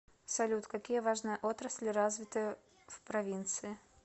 салют какие важные отрасли развиты в провинции